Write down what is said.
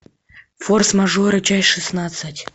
форс мажоры часть шестнадцать